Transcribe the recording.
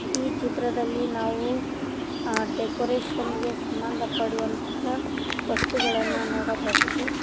ಈ ಚಿತ್ರದಲ್ಲಿ ನಾವು ಆ ಡೆಕೊರೇಷನ್ ಗೆ ಸಂಬಂಧ ಪಡುವಂತಹ ವಸ್ತುಗಳನ್ನ ನೋಡಬಹುದು.